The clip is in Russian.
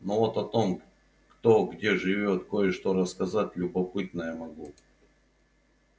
но вот о том кто где живёт кое-что рассказать любопытное могу